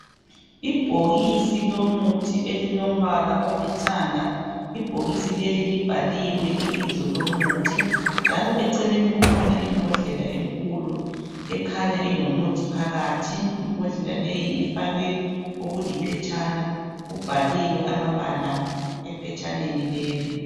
Ibhokisi lomuthi elilombala olithanga ibhokisi leli libhaliwe ibizo lomuthi njalo eceleni kukhona imbodlela ekulo ekhanya kulomuthi phakathi imbodlela leyi ifakwe okuliphetshana kubhaliwe amabala ephetshaneni lelo